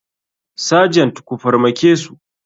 Sergent ku farmakesu.